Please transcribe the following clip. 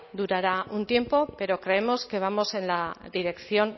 durará un tiempo pero creemos que vamos en la dirección